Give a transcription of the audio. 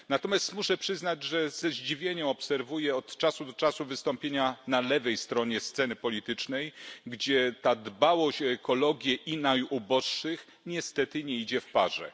Natomiast muszę przyznać, że ze zdziwieniem obserwuję od czasu do czasu wystąpienia na lewej stronie sceny politycznej, gdzie ta dbałość o ekologię i najuboższych niestety nie idzie w parze.